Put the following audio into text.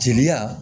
Jeliya